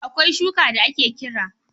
Akwai shuka da ake kira